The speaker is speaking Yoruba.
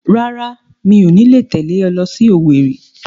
Rárá, mi ò ní tẹ̀lé ọ lọ sí Owerri